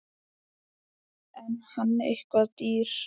Er hann eitthvað dýr?